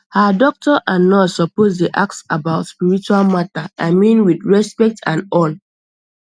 ah doctor and nurse suppose dey ask about spiritual matter i mean with respect and all